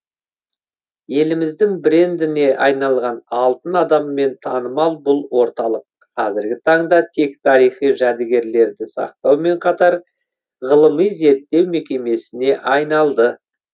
еліміздің брендіне айналған алтын адаммен танымал бұл орталық қазіргі таңда тек тарихи жәдігерлерді сақтаумен қатар ғылыми зерттеу мекемесіне айналды